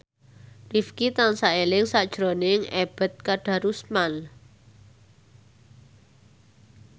Rifqi tansah eling sakjroning Ebet Kadarusman